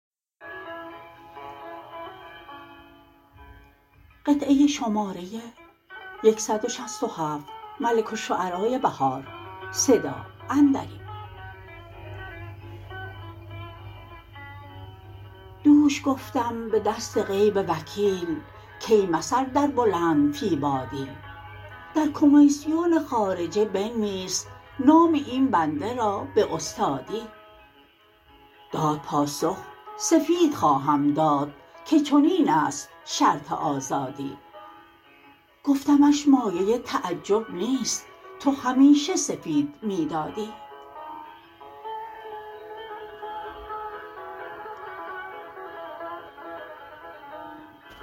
دوش گفتم به دست غیب وکیل کای مثل در بلند فی بادی در کمیسیون خارجه بنویس نام این بنده را به استادی داد پاسخ سفید خواهم داد که چنین است شرط آزادی گفتمش مایه تعجب نیست تو همیشه سفید می دادی